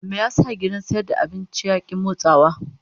Me yasa gidan sayar da abincin ya ki motsawa?